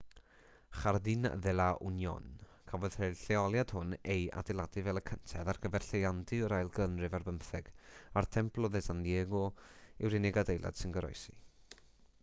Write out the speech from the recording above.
jardin de la unión cafodd y lleoliad hwn ei adeiladu fel y cyntedd ar gyfer lleiandy o'r ail ganrif ar bymtheg a'r templo de san diego yw'r unig adeilad sy'n goroesi